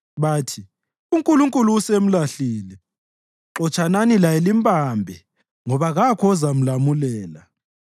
Bathi, “UNkulunkulu usemlahlile; xotshanani laye limbambe, ngoba kakho ozamlamulela.”